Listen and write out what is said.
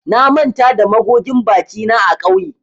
Na manta da magogin bakina a kauye